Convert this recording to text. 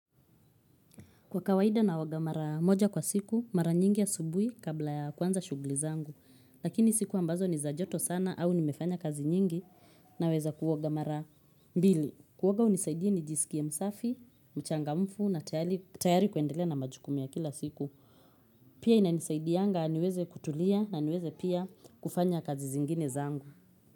Kwa kawaida naoga mara moja kwa siku, mara nyingi ya asubuhi kabla ya kwanza shuguli zangu. Lakini siku ambazo ni za joto sana au nimefanya kazi nyingi naweza kuoga mara. Mbili, kuwoga unisaidia ni jisikie msafi, mchangamfu na tayari kuendele na majukumu ya kila siku. Pia inanisaidiyanga niweze kutulia na niweze pia kufanya kazi zingine zangu.